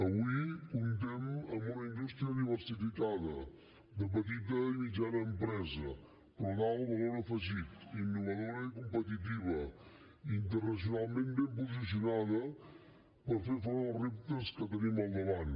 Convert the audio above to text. avui comptem amb una indústria diversificada de petita i mitjana empresa però d’alt valor afegit innovadora i competitiva internacionalment ben posicionada per fer front als reptes que tenim al davant